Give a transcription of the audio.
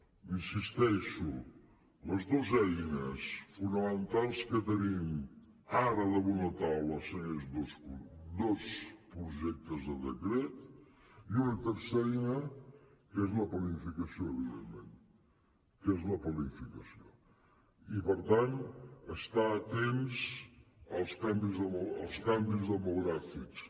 hi insisteixo les dos eines fonamentals que tenim ara damunt la taula són aquests dos projectes de decret i una tercera eina que és la planificació evidentment que és la planificació i per tant estar atents als canvis demogràfics